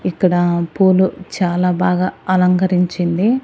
ఇక్కడ పూలు చాలా బాగా అలంకరించింది.